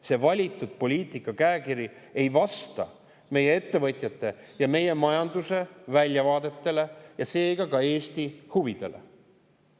See valitud poliitika käekiri ei vasta meie ettevõtjate ja meie majanduse väljavaadetele ega seega ka Eesti huvidele.